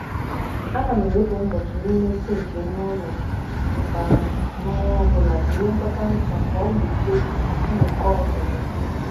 um a nam ewepụ ngbochi n' ime sinki ime ụlọ ịsa um ahụ n' ọnwa ọbụla jiri ngwọta nhicha ka ọ gbochie mmuko uzuzu.